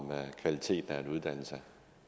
kvaliteten af en uddannelse